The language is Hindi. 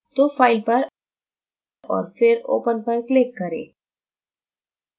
तो file पर और फिर open पर click करें